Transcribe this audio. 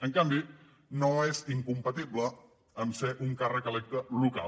en canvi no és incompatible a ser un càrrec electe local